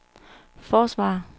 forsvarer